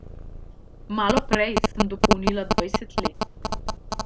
Malo prej sem dopolnila dvajset let.